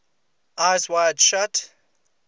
eyes wide shut